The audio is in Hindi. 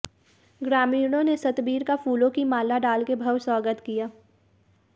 ग्रामीणों ने सतबीर का फूलों की माला डालकर भव्य स्वागत किया